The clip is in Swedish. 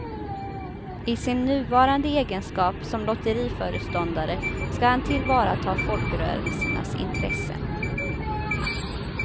I sin nuvarande egenskap som lotteriföreståndare ska han tillvarata folkrörelsernas intressen.